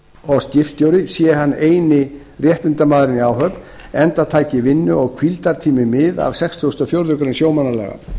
og skipstjóri sé hann eini réttindamaðurinn í áhöfn enda taki vinnu og hvíldartími mið af sextugustu og fjórðu greinar sjómannalaga